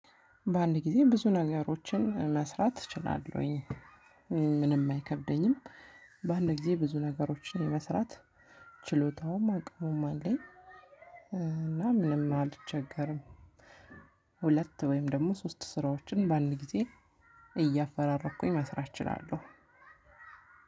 በአንድ ጊዜ ብዙ ነገሮችን መስራት እችላለሁኝ። ምንም አይከብደኝም። በአንድ ጊዜ ብዙ ነገሮችን የመስራት ችሎታውም አቅሙም አለኝ። እና ምንም አልቸገርም። ሁለት ወይም ደግሞ ሶስት ስራዎችን በአንድ ጊዜ እያፈራረኩኝ መስራት እችላለሁ።